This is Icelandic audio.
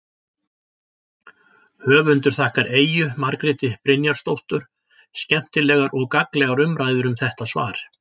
Höfundur þakkar Eyju Margréti Brynjarsdóttur skemmtilegar og gagnlegar umræður um þetta svar.